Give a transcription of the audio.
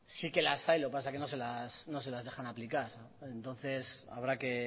sí que las hay lo que pasa que no se las dejan aplicar entonces habrá que